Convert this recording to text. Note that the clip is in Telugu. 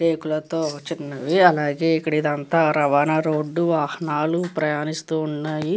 రేకులతో చిన్నవి అలాగే ఇక్కడ ఇదంతా రవాణా రోడ్డు వాహనాలు ప్రయాణిస్తూ ఉన్నాయి.